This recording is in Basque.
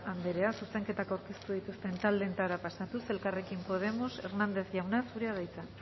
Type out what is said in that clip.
andrea zuzenketak aurkeztu dituzten taldeetara pasatuz elkarrekin podemos hernández jauna zurea da hitza